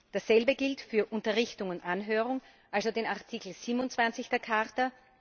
Dasselbe gilt für Unterrichtung und Anhörung, also den Artikel 27 der Charta.